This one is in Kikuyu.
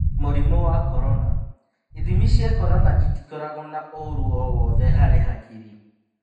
Mũrimũ wa Korona: Ithimi cia Korona itikoragwo na ũũru o-wothe harĩ hakiri.